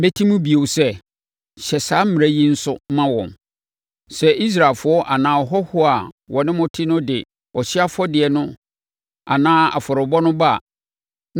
“Meti mu bio sɛ, ‘Hyɛ saa mmara yi nso ma wɔn. Sɛ Israelfoɔ anaa ahɔhoɔ a wɔne mo te no de ɔhyeɛ afɔrebɔdeɛ no anaa afɔrebɔ no ba,